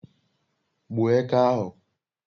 gbuo eke ahu